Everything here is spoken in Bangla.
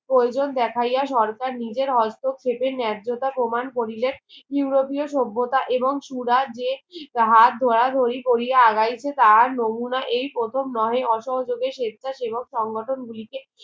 প্রয়োজন দেখাইয়া সরকার নিজের হস্তক্ষেপের নেয্যতা প্রমান করিলেন উরোপীয় সভ্যতা এমং সূরা যে তাহার ধরা ধরি কোরিয়া আগাইতে তাহার নমুনা এই প্রথম নহে অসহযোগে স্বেচ্ছা সেবক সংগঠন গুলি কে